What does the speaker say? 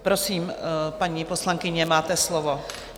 Prosím, paní poslankyně, máte slovo.